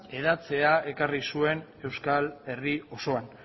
hedatzea ekarri zuen euskal herri osoan